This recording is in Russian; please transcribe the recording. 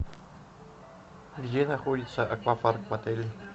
где находится аквапарк в отеле